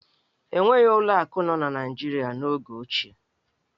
E nweghi ụlọ akụ nọ n'Naịjirịa n'oge ochie.